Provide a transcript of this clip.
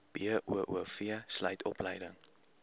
boov sluit opleiding